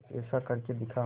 कुछ ऐसा करके दिखा